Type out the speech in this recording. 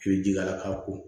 I bɛ ji k'a la k'a ko